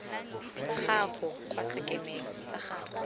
gago kwa sekemeng sa gago